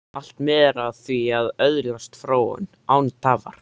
Allt miðar að því að öðlast fróun, án tafar.